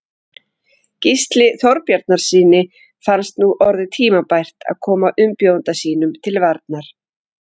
Gísla Þorbjarnarsyni fannst nú orðið tímabært að koma umbjóðanda sínum til varnar.